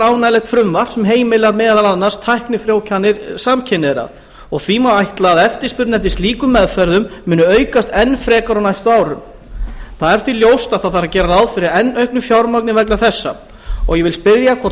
ánægjulegt frumvarp sem heimilar meðal annars tæknifrjóvganir samkynhneigðra og því má ætla að eftirspurn eftir slíkum meðferðum muni aukast enn frekar á næstu árum það er því ljóst að það þarf að gera ráð fyrir enn auknu fjármagni vegna þessa ég vil spyrja hvort